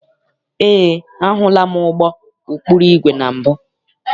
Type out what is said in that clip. Eé, ahụla m ụgbọ ụkpụrụ igwe na mbụ.